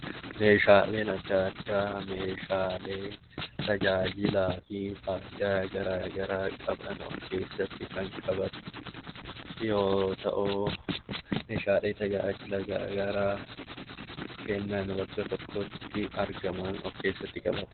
Meeshaalee addaa addaa Meeshaalee tajaajila addaa addaa qaban kan of keessatti qabatan yoo ta'u, Meeshaalee tajaajila garaagaraa Meeshaalee tajaajila garaagaraa kennan bakka tokkotti of keessatti qabata.